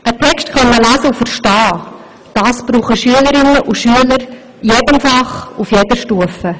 Einen Text lesen und verstehen zu können, das brauchen die Schülerinnen und Schüler in jedem Fach und auf jeder Stufe.